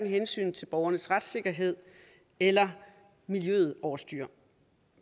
hensynet til borgernes retssikkerhed eller miljøet over styr